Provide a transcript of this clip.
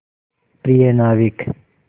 प्रिय नाविक